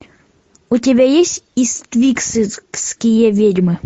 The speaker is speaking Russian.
у тебя есть иствикские ведьмы